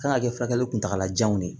Kan ka kɛ furakɛli kuntagalajan de ye